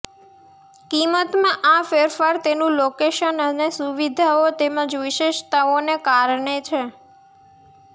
કિંમતમાં આ ફેરફાર તેનું લોકેશન અને સુવિધાઓ તેમજ વિશેષતાઓને કારણે છે